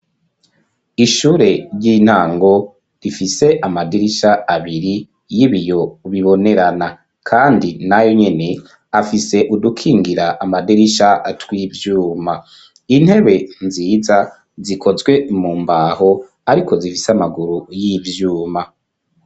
Ishure ry'intango rifise amadirisha abiri y'ibiyo bibonerana kandi na yonyene afise udukingira amadirisha tw'ivyuma. Intebe nziza zikozwe mu mbaho ariko zifise amaguru y'ivyuma.